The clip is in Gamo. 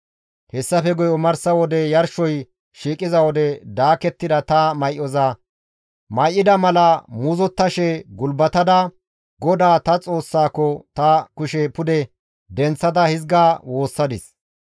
Hessafe guye omarsa wode yarshoy shiiqiza wode daakettida ta may7oza may7ida mala muuzottashe gulbatada GODAA ta Xoossako ta kushe pude denththada hizga woossadis;